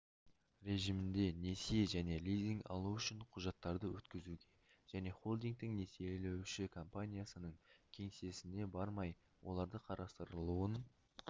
режимінде несие және лизинг алу үшін құжаттарды өткізуге жәнехолдингтің несиелеуші компаниясының кеңсесіне бармай олардың қарастырылуын